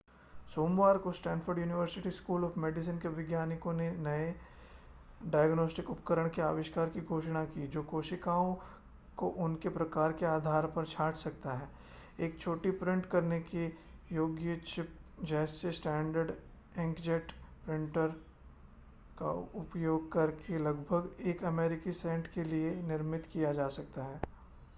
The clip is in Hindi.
सोमवार को Stanford University school of medicine के वैज्ञानिकों ने एक नए डायग्नोस्टिक उपकरण के आविष्कार की घोषणा की जो कोशिकाओं को उनके प्रकार के आधार पर छांट सकता है एक छोटी प्रिंट करने योग्य चिप जिसे स्टैण्डर्ड इंकजेट प्रिंटर का उपयोग करके लगभग एक अमेरिकी सेंट के लिए निर्मित किया जा सकता है